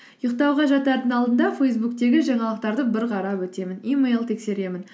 ұйықтауға жатардың алдында фейсбуктегі жаңалықтарды бір қарап өтемін емэйл тексеремін